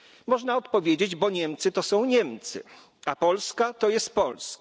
Można odpowiedzieć bo Niemcy to są Niemcy, a Polska to jest Polska.